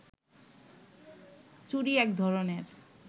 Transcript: চুড়ি একধরণের